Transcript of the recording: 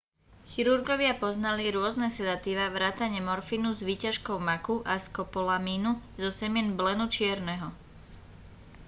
chirurgovia poznali rôzne sedatíva vrátane morfínu z výťažkov maku a skopolamínu zo semien blenu čierneho